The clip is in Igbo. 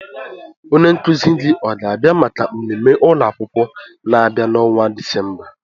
Onye nkuzi gị ọ ga-abịa maka mmemme ụlọ akwụkwọ na-abịa n'ọnwa Disemba?